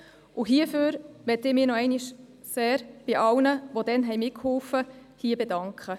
Hierfür möchte ich mich bei allen, die dabei mitgeholfen haben, noch einmal sehr bedanken.